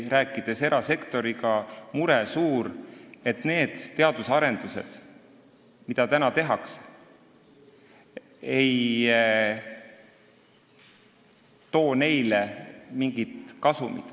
Rääkides erasektoriga, selgub suur mure, et need arendused, mida tehakse, ei too neile mingit kasumit.